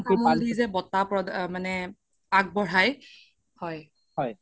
যে বটা মানে আগবঢ়াই হয়